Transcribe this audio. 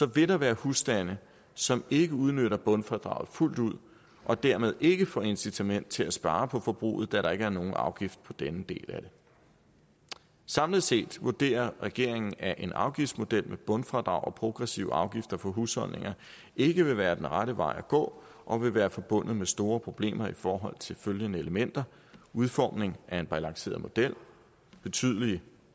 vil der være husstande som ikke udnytter bundfradraget fuldt ud og dermed ikke får incitament til at spare på forbruget da der ikke er nogen afgift på denne del af det samlet set vurderer regeringen at en afgiftsmodel med bundfradrag og progressiv afgifter for husholdninger ikke vil være den rette vej at gå og vil være forbundet med store problemer i forhold til følgende elementer udformning af en balanceret model betydelige